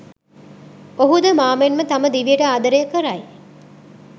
ඔහුද මා මෙන්ම තම දිවියට ආදරය කරයි.